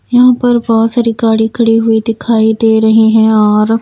यहां पर बहुत सारी गाड़ी खड़ी हुई दिखाई दे रही हैं और --